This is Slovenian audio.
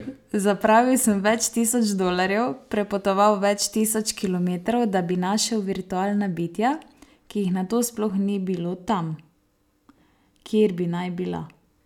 Zapravil sem več tisoč dolarjev, prepotoval več tisoč kilometrov, da bi našel virtualna bitja, ki jih nato sploh ni bilo tam, kjer bi naj bila?